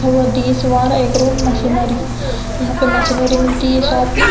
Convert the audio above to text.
Machinery यहां पर machinery मिलती है शॉप में।